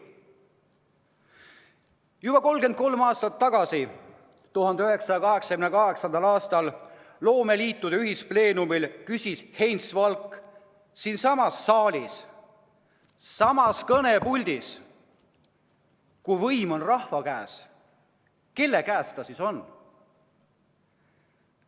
Nüüd juba 33 aastat tagasi, 1988. aastal küsis loomeliitude ühispleenumil Heinz Valk siinsamas saalis, samas kõnepuldis: "Kui võim on rahva käes, kelle käes ta siis on?